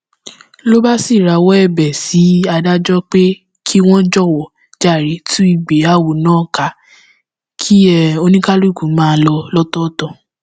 ló bá rawọ ẹbẹ sí adájọ pé kí wọn jọwọ jàre tú ìgbéyàwó náà ká kí oníkálùkù máa lọ lọtọọtọ